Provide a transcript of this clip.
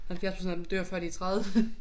70% af dem dør før de er 30